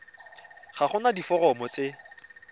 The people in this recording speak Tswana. ga go na diforomo tse